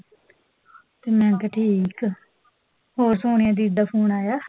ਤੇ ਮੈਂ ਕਿਹਾ ਠੀਕ ਆ ਹੋਰ, ਸੋਨੀਆ ਦੀਦੀ ਦਾ ਫੋਨ ਆਇਆ?